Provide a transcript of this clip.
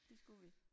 Det skulle vi